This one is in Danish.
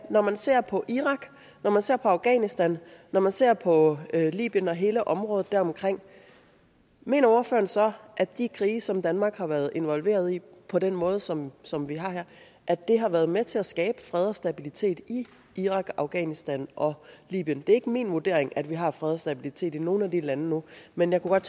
når man ser på irak når man ser på afghanistan når man ser på libyen og hele området deromkring mener ordføreren så at de krige som danmark har været involveret i på den måde som som vi har har været med til at skabe fred og stabilitet i irak afghanistan og libyen det er ikke min vurdering at vi har fred og stabilitet i nogen af de lande nu men jeg kunne